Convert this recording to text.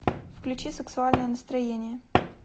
включи сексуальное настроение